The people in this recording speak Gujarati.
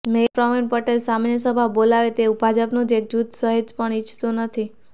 મેયર પ્રવિણ પટેલ સામાન્ય સભા બોલાવે તેવું ભાજપનું જ એક જુથ સહેજપણ ઈચ્છતું નથી